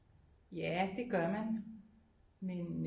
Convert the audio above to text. Ja det gør man men